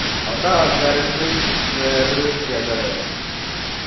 അവടത്തെ ആൾക്കാര് എന്ത് വേറൊര് വ്യത്യാസ ആ ല്ലേ